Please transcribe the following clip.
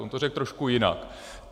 On to řekl trošku jinak.